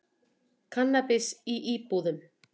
Kannabis í íbúðum